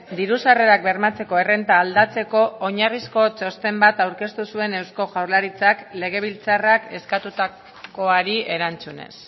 diru sarrerak bermatzeko errenta aldatzeko oinarrizko txosten bat aurkeztu zuen eusko jaurlaritzak legebiltzarrak eskatutakoari erantzunez